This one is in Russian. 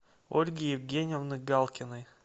ольги евгеньевны галкиной